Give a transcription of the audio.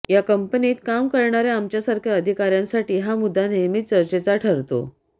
या कंपनीत काम करणाऱ्या आमच्यासारख्या अधिकाऱ्यांसाठी हा मुद्दा नेमकीच चर्चेचा ठरतो